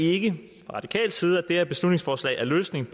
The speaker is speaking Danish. ikke fra radikal side at det her beslutningsforslag er løsningen